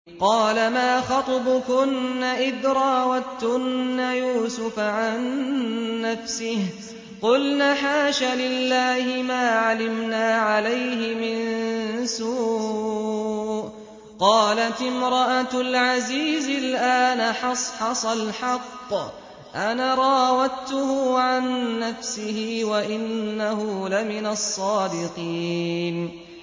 قَالَ مَا خَطْبُكُنَّ إِذْ رَاوَدتُّنَّ يُوسُفَ عَن نَّفْسِهِ ۚ قُلْنَ حَاشَ لِلَّهِ مَا عَلِمْنَا عَلَيْهِ مِن سُوءٍ ۚ قَالَتِ امْرَأَتُ الْعَزِيزِ الْآنَ حَصْحَصَ الْحَقُّ أَنَا رَاوَدتُّهُ عَن نَّفْسِهِ وَإِنَّهُ لَمِنَ الصَّادِقِينَ